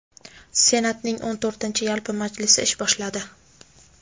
Senatning o‘n to‘rtinchi yalpi majlisi ish boshladi.